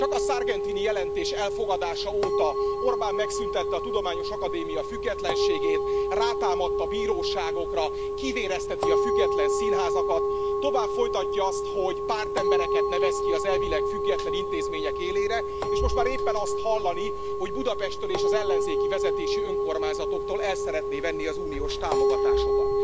Csak a Sargentini jelentés elfogadása óta Orbán megszüntette a Tudományos Akadémia függetlenségét, rátámadt a bíróságokra, kivérezteti a független színházakat, tovább folytatja azt, hogy pártembereket nevez ki az elvileg független intézmények élére, és most már éppen azt hallani, hogy Budapesttől és az ellenzéki vezetésű önkormányzatoktól el szeretné venni az uniós támogatásokat.